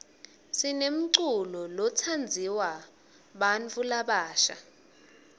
sinemculo tsatsanduwa bnatfu labasha